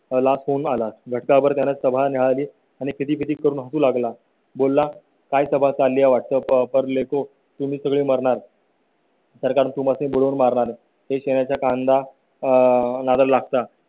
ला फोन आला. घटकाभर सभा न्याहाळली आणि खी खी करून हसू लागला बोला काय सभा झाल्या वाटप लेको तुम्ही सगळे मरणार. तर तुम्ही बोलून मारणार कांदा आह नारळ लागतात